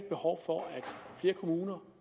behov for at flere kommuner